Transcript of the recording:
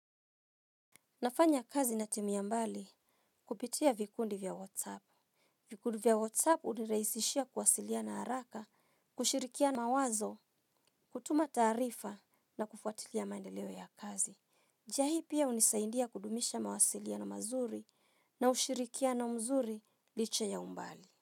Nafanya kazi na timu ya mbali kupitia vikundi vya WhatsApp. Vikundi vya WhatsApp hunirahisishia kuwasiliana haraka, kushirikiana mawazo, kutuma taarifa na kufuatilia maendeleo ya kazi. Njia hii pia hunisaindia kudumisha mawasiliano mazuri na ushirikiano mzuri licha ya umbali.